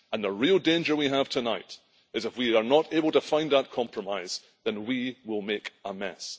The real danger we have tonight is if we are not able to find that compromise, then we will make a mess.